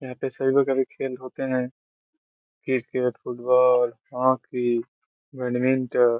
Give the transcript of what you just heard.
यहाँ पे सभी लोगो के भी खेल होते है। Cricket football hockey badminton.